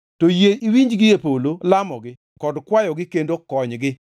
to yie iwinji gie polo lamogi kod kwayogi kendo konygi.